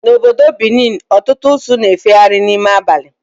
Na obodo Benin, ọtụtụ usu na-efegharị n'ime abali